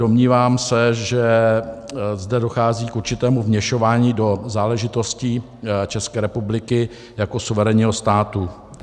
Domnívám se, že zde dochází k určitému vměšování do záležitostí České republiky jako suverénního státu.